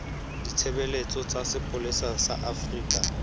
ditshebeletso tsa sepolesa sa afrika